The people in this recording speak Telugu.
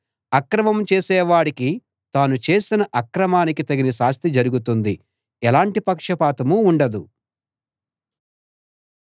అక్రమం చేసేవాడికి తాను చేసిన అక్రమానికి తగిన శాస్తి జరుగుతుంది ఎలాంటి పక్షపాతం ఉండదు